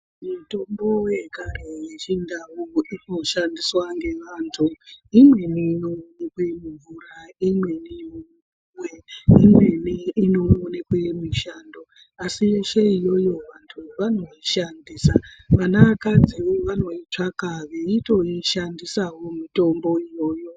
Mitombo yekare yechindau inoshandiwsa ngevantu imweni inookwe mumvura ,imweni mumapuwe, imweni inoonekwe mushango asi yeshe iyoyo vanhu vanoishandisa vanakadzi vanoitsvaka veitoishandisawo mitombo iyoyo.